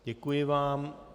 Děkuji vám.